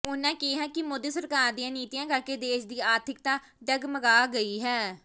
ਉਹਨਾਂ ਕਿਹਾ ਕਿ ਮੋਦੀ ਸਰਕਾਰ ਦੀਆਂ ਨੀਤੀਆਂ ਕਰਕੇ ਦੇਸ਼ ਦੀ ਆਰਥਿਕਤਾ ਡੱਗਮਗਾਹ ਗਈ ਹੈ